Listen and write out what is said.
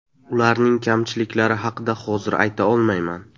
Ularning kamchiliklari haqida hozir ayta olmayman.